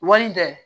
Wari in tɛ